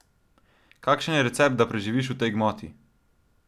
Kakšen je recept, da preživiš v tej gmoti?